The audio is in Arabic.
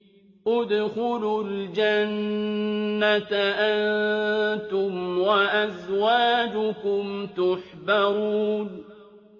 ادْخُلُوا الْجَنَّةَ أَنتُمْ وَأَزْوَاجُكُمْ تُحْبَرُونَ